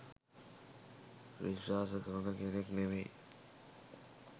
විශ්වාස කරන කෙනෙක් නෙමෙයි.